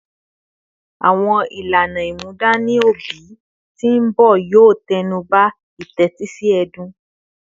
Awọn ilana imudani obi ti nbọ yoo tẹnuba itetisi ẹdun